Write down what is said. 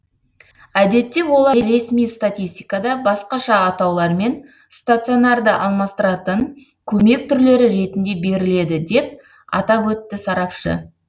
әдетте олар ресми статистикада басқаша атаулармен стационарды алмастыратын көмек түрлері ретінде беріледі деп атап өтті сарапшы